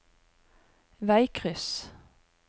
veikryss